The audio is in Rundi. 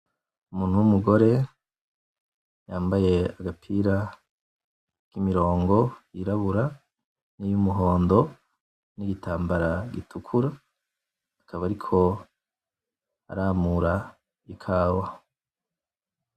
Umuntu w'umugore yambaye aka gapira kimirongo y'irabura, niy'umuhondo, n'igitambara gitukura akaba ariko aramura ikawa.